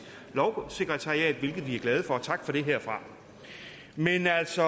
lovsekretariatet hvilket vi er glade for tak for det herfra men altså